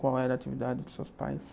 Qual era a atividade dos seus pais?